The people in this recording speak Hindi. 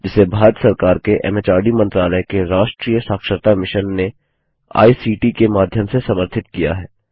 जिसे भारत सरकार के एमएचआरडी मंत्रालय के राष्ट्रीय साक्षरता मिशन ने आई सीटी के माध्यम से समर्थित किया है